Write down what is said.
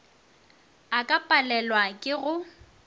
a ka palelwa ke go